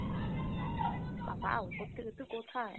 বাবা উপর থেকে তুই কোথায়?